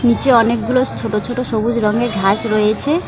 নীচে অনেকগুলো ছোট ছোট সবুজ রঙের ঘাস রয়েছে।